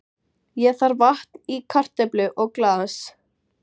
Ég þarf vatn í karöflu og glas.